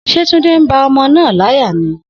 Se Tunde n ba omo naa laya ni?